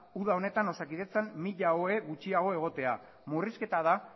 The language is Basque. uda honetan osakidetzan mila ohe gutxiago egotea murrizketa da